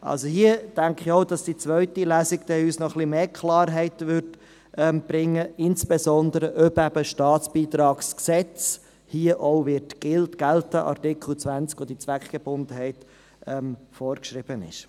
Hier denke ich auch, dass die zweite Lesung noch etwas mehr Klarheit brächte, insbesondere in der Frage, ob das StBG hier auch gilt, also Artikel 20 StBG, in dem die Zweckgebundenheit vorgeschrieben ist.